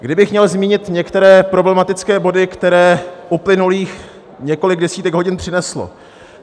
Kdybych měl zmínit některé problematické body, které uplynulých několik desítek hodin přineslo.